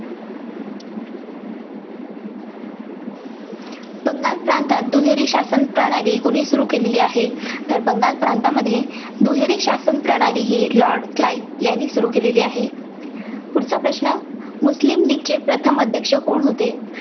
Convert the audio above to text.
बंगाल प्रांतात दुहेरी शासनप्रणाली कुणी सुरू केलेली आहे? तर बंगाल प्रांतामध्ये दुहेरी शासनप्रणाली ही लॉर्ड क्लाईव्ह यांनी सुरू केलेली आहे.